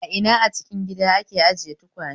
A ina a cikin gida ake ajiye tukwane?